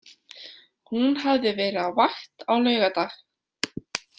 Hún hafði verið á vakt á laugardag.